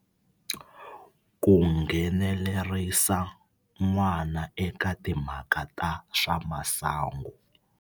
Ku nghenelerisa n'wana eka timhaka ta swa masangu.